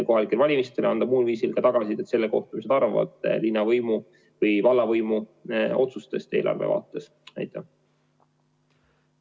Kohalikel valimistel ja muul viisil saab anda tagasisidet selle kohta, mida arvatakse linnavõimu või vallavõimu otsustest eelarve.